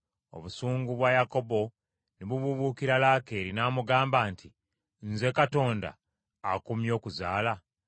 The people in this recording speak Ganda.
Obusungu bwa Yakobo ne bubuubuukira Laakeeri, n’amugamba nti, “Nze Katonda akummye okuzaala?”